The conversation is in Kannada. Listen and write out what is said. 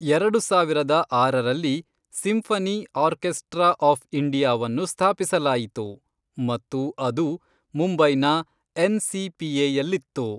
ಎರಡು ಸಾವಿರದ ಆರರಲ್ಲಿ, ಸಿಂಫನಿ ಆರ್ಕೆಸ್ಟ್ರಾ ಆಫ್ ಇಂಡಿಯಾವನ್ನು ಸ್ಥಾಪಿಸಲಾಯಿತು ಮತ್ತು ಅದು ಮುಂಬೈನ ಎನ್.ಸಿ.ಪಿ.ಎ.ಯಲ್ಲಿತ್ತು.